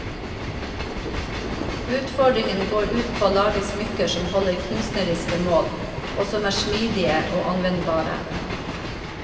Utfordringen går ut på å lage smykker som holder kunstneriske mål, og som er smidige og anvendbare.